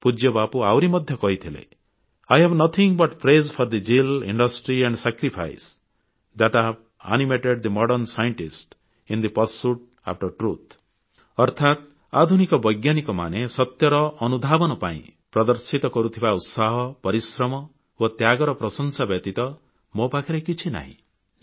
ପୂଜ୍ୟ ବାପୁ ଆହୁରି ମଧ୍ୟ କହିଥିଲେ I have nothing but praise for the zeal industry and sacrifice that have animated the modern scientists in the pursuit after truth ଅର୍ଥାତ୍ ଆଧୁନିକ ବୈଜ୍ଞାନିକମାନେ ସତ୍ୟର ଅନୁଧାବନ ପାଇଁ ପ୍ରଦର୍ଶିତ କରୁଥିବା ଉତ୍ସାହ ପରିଶ୍ରମ ଓ ତ୍ୟାଗର ପ୍ରଶଂସା ବ୍ୟତୀତ ମୋ ପାଖରେ କିଛି ନାହିଁ